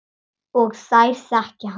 Og þær þekki hann.